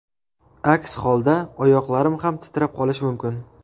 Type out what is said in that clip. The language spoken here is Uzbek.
Aks holda oyoqlarim ham titrab qolishi mumkin.